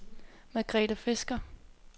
Margrethe Fisker